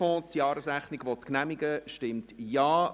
Wer die Jahresrechnung des Sportfonds genehmigen will, stimmt Ja,